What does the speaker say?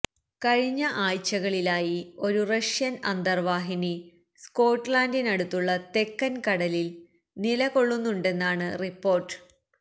കഴിഞ്ഞ ആഴ്ചകളിലായി ഒരു റഷ്യൻ അന്തർവാഹിനി സ്കോട്ട്ലന്റിനടുത്തുള്ള തെക്കൻ കടലിൽ നിലകൊള്ളുന്നുണ്ടെന്നാണ് റിപ്പോർട്ട്